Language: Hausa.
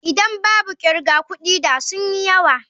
Idan babu kirga kudi da sun yi yawa.